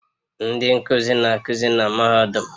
Ndị nkuzi na-akụzi na mahadum